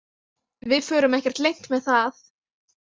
Við förum ekkert leynt með það